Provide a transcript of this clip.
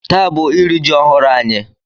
Taa bụ iri ji ọhụrụ anyị.